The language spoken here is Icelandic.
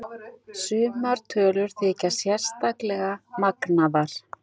Sumar tölur þykja sérstaklega magnaðar.